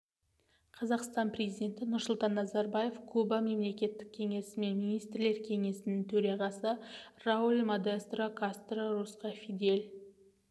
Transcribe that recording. қазақстан президенті нұрсұлтан назарбаев куба мемлекеттік кеңесі мен министрлер кеңесінің төрағасы рауль модестро кастро русқа фидель